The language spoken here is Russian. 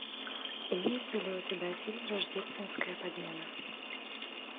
имеется ли у тебя фильм рождественская подмена